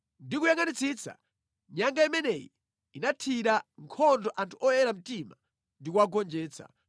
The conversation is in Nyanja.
Ndikuyangʼanitsitsa, nyanga imeneyi inathira nkhondo anthu oyera mtima ndi kuwagonjetsa,